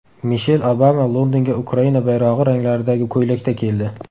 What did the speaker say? Mishel Obama Londonga Ukraina bayrog‘i ranglaridagi ko‘ylakda keldi.